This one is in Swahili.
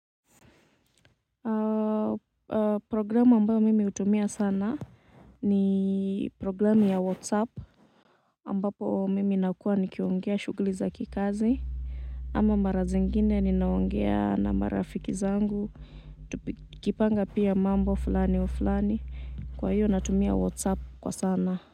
Programu ambao mimi hutumia sana ni programu ya whatsapp ambapo mimi nakua nikiongea shughuli za kikazi ama mara zingine ni naongea na marafiki zangu. Nikipanga pia mambo fulani wa fulani kwa hiyo natumia whatsapp kwa sana.